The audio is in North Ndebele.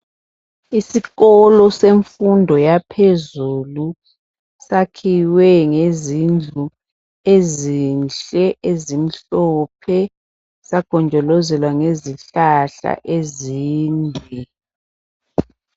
Isikolo semfundo yaphezulu sakhiwe ngezindlu ezinhle ezimhlophe sagonjolozelwa ngezihlahla ezinde.